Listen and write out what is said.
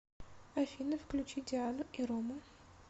афина включи диану и рому